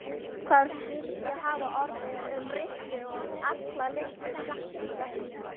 Hvað skyldi hafa orðið um Rikku og alla litlu krakkana?